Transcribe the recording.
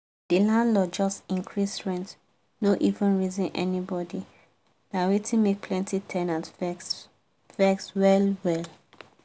the landlord just increase rent no even reason anybody na wetin make plenty ten ants vex vex well well.